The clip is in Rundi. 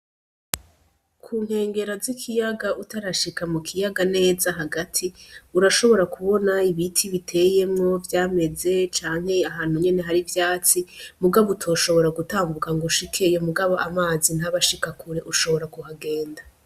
Kunkengera z'ikiyaga utarashika mu kiyaga neza hagati urashobora kubona ibiti biteyemwo vyameze canke ahantu nyene hari ivyatsi mugabo utoshobora gutambuka ngo ushikeyo mugabo amazi ntaba ashika kure ushobora kuhagenda.